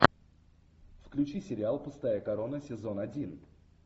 включи сериал пустая корона сезон один